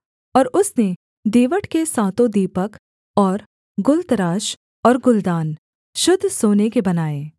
और उसने दीवट के सातों दीपक और गुलतराश और गुलदान शुद्ध सोने के बनाए